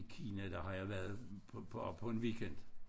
Kina der har jeg været bare på en weekend